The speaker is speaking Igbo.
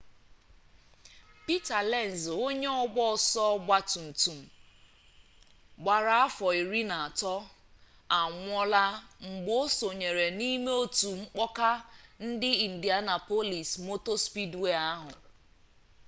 peter lenz onye ọgba ọsọ ọgba tum tum gbara afọ iri na atọ anwụọla mgbe o sonyere n'ime otu mkpọka na indianapolis motor speedway ahụ